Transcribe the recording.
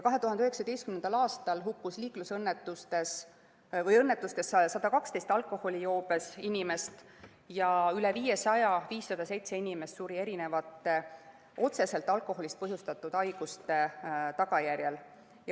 2019. aastal hukkus õnnetustes 112 alkoholijoobes inimest ja üle 500 inimese, täpsemalt 507 inimest, suri otseselt alkoholist põhjustatud haiguste tagajärjel.